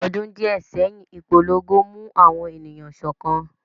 Ọdún díẹ̀ sẹ́yìn, ìpolongo mú àwọn ènìyàn sọ́kan